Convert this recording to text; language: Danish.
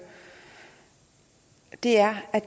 er at